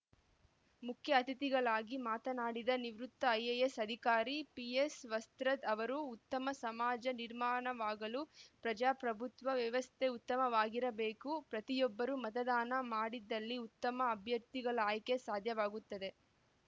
ಮುಖ್ಯ ಅತಿಥಿಗಳಾಗಿ ಮಾತನಾಡಿದ ನಿವೃತ್ತ ಐಎಎಸ್‌ ಅಧಿಕಾರಿ ಪಿಎಸ್‌ವಸ್ತ್ರದ್‌ ಅವರು ಉತ್ತಮ ಸಮಾಜ ನಿರ್ಮಾಣವಾಗಲು ಪ್ರಜಾಪ್ರಭುತ್ವ ವ್ಯವಸ್ಥೆ ಉತ್ತಮವಾಗಿರಬೇಕು ಪ್ರತಿಯೊಬ್ಬರು ಮತದಾನ ಮಾಡಿದ್ದಲ್ಲಿ ಉತ್ತಮ ಅಭ್ಯರ್ಥಿಗಳ ಆಯ್ಕೆ ಸಾಧ್ಯವಾಗುತ್ತದೆ